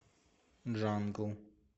джангл